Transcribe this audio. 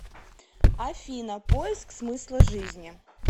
афина поиск смысла жизни